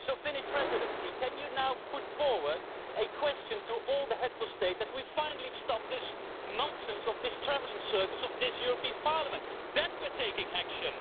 So, Finnish Presidency, can you now put forward a question to all the Heads of State, asking that we finally stop the nonsense of the travelling circus of this European Parliament. Then we will be taking action.